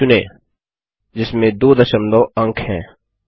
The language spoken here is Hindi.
123400 चुनें जिसमें दो दशमलव अंक हैं